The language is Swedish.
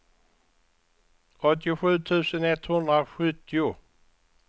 åttiosju tusen etthundrasjuttio